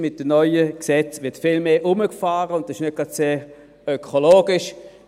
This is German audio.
Mit dem neuen Gesetz wird viel mehr herumgefahren, und das ist nicht gerade sehr ökologisch.